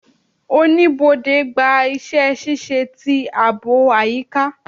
Oníbodè gba iṣẹ-ṣiṣe ti aabo ayika